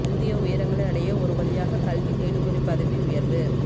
புதிய உயரங்களை அடைய ஒரு வழியாக கல்வி தேடுபொறி பதவி உயர்வு